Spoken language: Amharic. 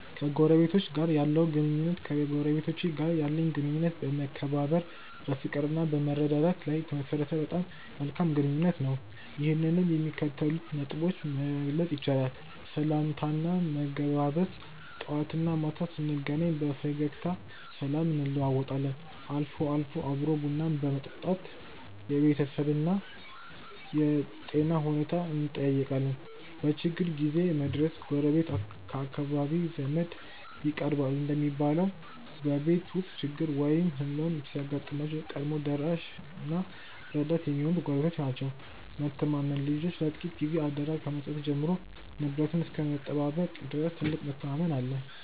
ከጎረቤቶች ጋር ያለው ግንኙነት ከጎረቤቶቼ ጋር ያለኝ ግንኙነት በመከባበር፣ በፍቅርና በመረዳዳት ላይ የተመሠረተ በጣም መልካም ግንኙነት ነው። ይህንንም በሚከተሉት ነጥቦች መግለጽ ይቻላል፦ .ሰላምታና መገባበዝ፦ ጠዋትና ማታ ስንገናኝ በፈገግታ ሰላምታ እንለዋወጣለን፤ አልፎ አልፎም አብሮ ቡና በመጠጣት የቤተሰብንና የጤና ሁኔታን እንጠያየቃለን። .በችግር ጊዜ መድረስ፦ ጎረቤት ከአካራቢ ዘመድ ይቀርባል እንደሚባለው፣ በቤት ውስጥ ችግር ወይም ሕመም ሲያጋጥም ቀድሞ ደራሽና ረዳት የሚሆኑት ጎረቤቶች ናቸው። .መተማመን፦ ልጆችን ለጥቂት ጊዜ አደራ ከመስጠት ጀምሮ ንብረትን እስከ መጠባበቅ ድረስ ትልቅ መተማመን አለን።